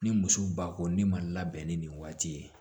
Ni muso ba ko ne ma labɛn ni nin waati ye